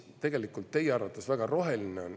Teie arvates on see väga roheline.